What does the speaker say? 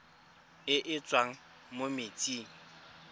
e e tswang mo metsing